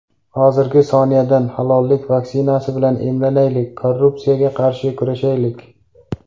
Hozirgi soniyadan halollik vaksinasi bilan emlanaylik, korrupsiyaga qarshi kurashaylik.